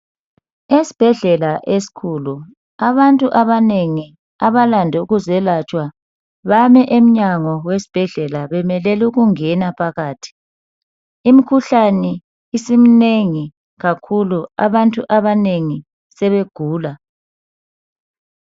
Esibhedlela esikhulu abantu abanengi abalande ukuzelatshwa bame emnyango wesibhedlela bemelele ukungena phakathi ,imikhuhlane isiminengi kakhulu abantu abanengi sebegula.